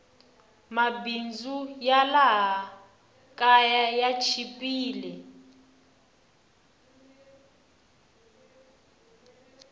mabindzu ya laha kaya ya chipile